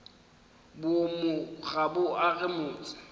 boomo ga bo age motse